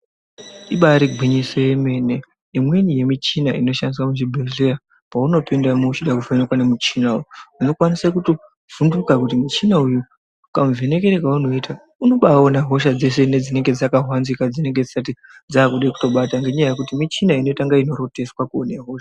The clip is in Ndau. Ibaari gwinyiso yemene imweni yemichina inoshandiswa muzvibhedhleya paunopindamo uchida kuvhenekwa nemuchina uyu , unokwanisa kutovhunduka kuti muchina uyu kamuvhenekere kaunoita, unobaaona hosha dzese nedzinenge dzakahwanzika nedzinenge dzisati dzaakuda kutobata. Ngendaa yekuti michina inoita kunge inotoroteswa kuona hosha.